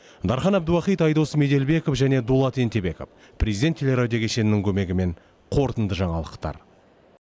дархан әбдуахит айдос меделбеков және дулат ентебеков президент теле радио кешенінің көмегімен қорытынды жаңалықтар